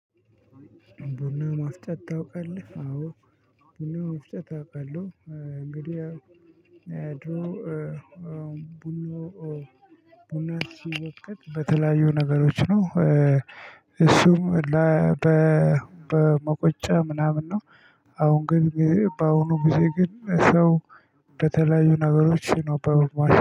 ቡና ማፍጨት ታውቃለህ? አዎ ቡና ማፍጭት አውቃለሁ እንግዲህ ቡና ሲወቅት በተለያዩ ነገሮች ነው። እሱም በመቆጫ ምናምን ነው። አሁን ግን በአሁኑ ጊዜ ግን ሰው በተለያዩ ነገሮች ነው በማሸን